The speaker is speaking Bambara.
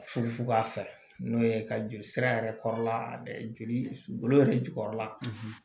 Fufuba fɛ n'o ye ka joli sira yɛrɛ kɔrɔla joli yɛrɛ jukɔrɔla